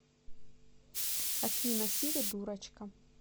афина сири дурочка